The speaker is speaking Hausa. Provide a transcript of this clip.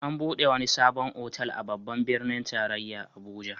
An buɗe wani sabon otal a Babban birnin tarayya Abuja.